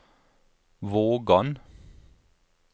Vågan